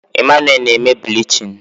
Emmanuel na-eme bilichini